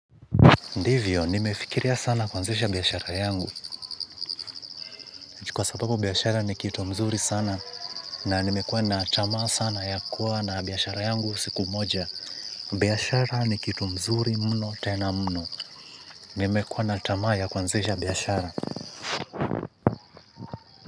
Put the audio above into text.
Ndivyo, nimefikiria sana kuanzisha biashara yangu, kwa sababu biashara ni kitu mzuri sana, na nimekuwa na tamaa sana ya kuwa na biashara yangu siku moja, biashara ni kitu mzuri mno tena mno, nimekuwa na tamaa ya kuanzisha biashara.